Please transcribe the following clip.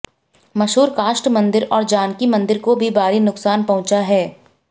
मशहूर काष्ठ मंदिर और जानकी मंदिर को भी भारी नुकसान पहुंचा है